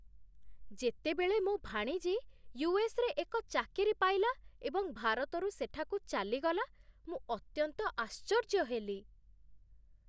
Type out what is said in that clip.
ଯେତେବେଳେ ମୋ ଭାଣିଜୀ ୟୁ.ଏସ୍.ରେ ଏକ ଚାକିରି ପାଇଲା ଏବଂ ଭାରତରୁ ସେଠାକୁ ଚାଲିଗଲା, ମୁଁ ଅତ୍ୟନ୍ତ ଆଶ୍ଚର୍ଯ୍ୟ ହେଲି।